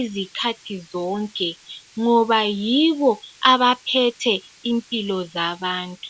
izikhathi zonke ngoba yibo abaphethe impilo zabantu